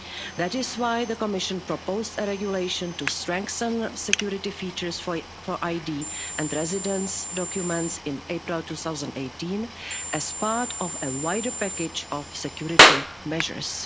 That is why the Commission proposed a regulation to strengthen security features for ID and residence documents in April 2018 as part of a wider package of security measures.